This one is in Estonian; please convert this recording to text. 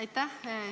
Aitäh!